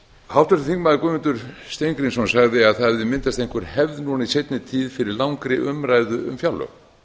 háttvirtur þingmaður guðmundur steingrímsson sagði að það hefði myndast einhver hefði í seinni tíð fyrir langri umræðu um fjárlög